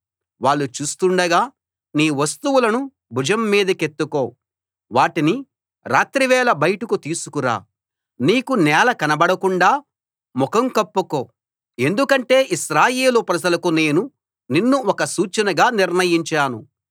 వాళ్ళు చూస్తుండగా నీ వస్తువులను భుజం మీదికెత్తుకో వాటిని రాత్రివేళ బయటకు తీసుకు రా నీకు నేల కనపడకుండా ముఖం కప్పుకో ఎందుకంటే ఇశ్రాయేలు ప్రజలకు నేను నిన్ను ఒక సూచనగా నిర్ణయించాను